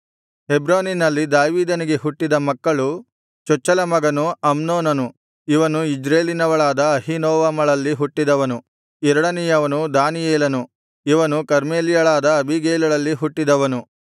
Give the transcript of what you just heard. ಹೆಬ್ರೋನಿನಲ್ಲಿ ದಾವೀದನಿಗೆ ಹುಟ್ಟಿದ ಮಕ್ಕಳು ಚೊಚ್ಚಲಮಗನು ಅಮ್ನೋನನು ಇವನು ಇಜ್ರೇಲಿನವಳಾದ ಅಹೀನೋವಮಳಲ್ಲಿ ಹುಟ್ಟಿದವನು ಎರಡನೆಯವನು ದಾನಿಯೇಲನು ಇವನು ಕರ್ಮೇಲ್ಯಳಾದ ಅಬೀಗೈಲಳಲ್ಲಿ ಹುಟ್ಟಿದವನು